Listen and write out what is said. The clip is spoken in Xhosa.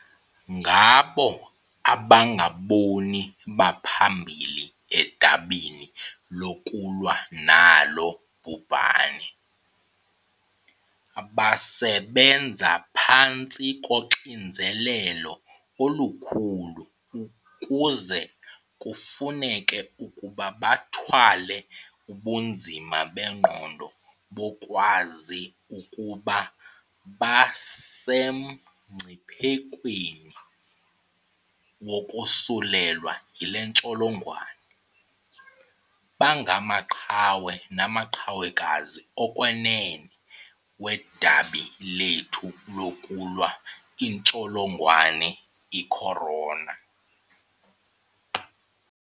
Ngabo abangabona baphambili edabini lokulwa nalo bhubhane. Basebenza phantsi koxinizelelo olukhulu kuze kufuneke ukuba bathwale ubunzima bengqondo bokwazi ukuba basemngciphekweni wokosulelwa yile ntsholongwane. Bangamaqhawe namaqhawekazi okwenene wedabi lethu lokulwa intsholongwane i-corona .